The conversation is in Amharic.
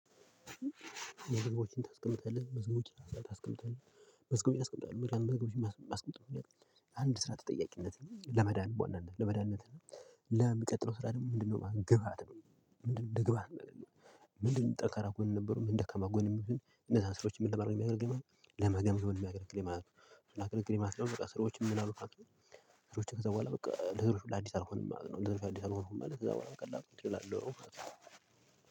መዝገቦችን ታስቀምጣለህ? መዝገቦችን ታስቀምጣለህ? መዝገቦችን አስቀምጣለሁ። ምክንያቱም መዝገቦችን ማስቀምጥበት ምክንያት አንድ ስራ ተጠያቂነት ለመዳን በዋናነት ለመዳንነት ለሚቀጥለው ስራ ደግሞ ምንድነው ግብአት ነው። ምንድነው እንደግብዓት ማለት ነው። ምንድነው ጠንካራ ጎን የነበሩ ምን ደካማ ጎን የሚሉትን እነዛ ስራዎችን ምን ለማድረግ ነው የሚያገለግለው ለመገምገም ነው የሚያገለግለኝ ማለት ነው። ምን አገለገለኝ ማለት ነው በቃ ስራዎች የምናሉ ስራዎች ከዛ በኋላ በቃ ነገሮች ሁላ አዲስ አልሆንም ማለት ነው። ነገሮች አዲስ አልሆንም ማለት እዛ በኋላ በቀላሉ እችላለሁ።